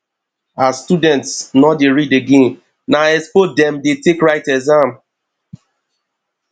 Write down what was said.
as students no dey read again na expo dem take dey write exam